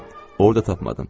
Orda tapmadım.